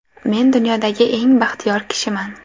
Men dunyodagi eng baxtiyor kishiman.